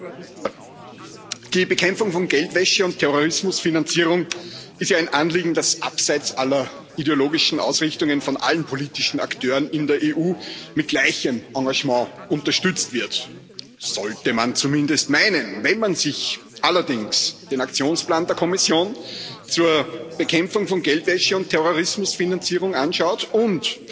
Herr Präsident! Die Bekämpfung von Geldwäsche und Terrorismusfinanzierung ist ja ein Anliegen, das abseits aller ideologischen Ausrichtungen von allen politischen Akteuren in der EU mit gleichem Engagement unterstützt wird das sollte man zumindest meinen. Wenn man sich allerdings den Aktionsplan der Kommission zur Bekämpfung von Geldwäsche und Terrorismusfinanzierung anschaut und